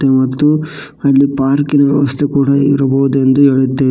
ಮತ್ತು ಅಲ್ಲಿ ಪಾರ್ಕಿ ನ ವ್ಯವಸ್ಥೆ ಕೂಡ ಇರಬೊದ ಎಂದು ಹೇಳಿದ್ದೆ--